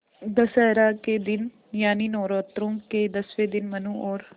दशहरा के दिन यानि नौरात्रों के दसवें दिन मनु और